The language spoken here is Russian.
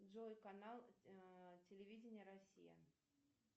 джой канал телевидения россия